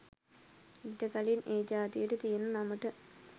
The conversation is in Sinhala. ඊට කලින් ඒ ජාතියට තියෙන නමට